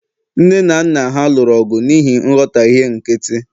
nne na nna ha lụrụ ọgụ n'ihi nghọtahie nkịtị